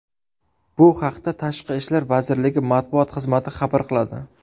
Bu haqda Tashqi ishlar vazirligi matbuot xizmati xabar qiladi .